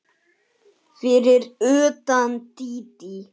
Fyrir utan Dídí.